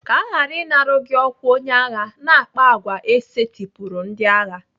Ka aghara ịnara gị ọkwa onye agha, na-akpa àgwà e setịpụrụ ndị agha.